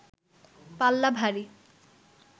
পাল্লা ভারী